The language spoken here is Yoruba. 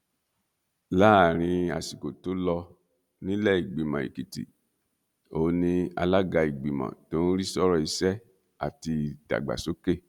láàrin àsìkò tó lọ nílẹẹgbìmọ èkìtì òun ni alága ìgbìmọ tó ń rí sọrọ ìṣẹ àti ìdàgbàsókè